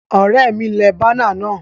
Òré mi le banner náà